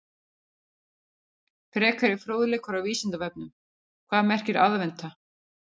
Frekari fróðleikur á Vísindavefnum: Hvað merkir aðventa?